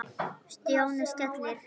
Stjáni skellti